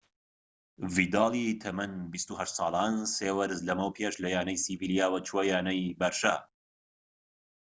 ڤیدالی تەمەن ٢٨ ساڵان سێ وەرز لەمەو پێش لەیانەی سیڤیلیاوە چووە یانەی بەرشە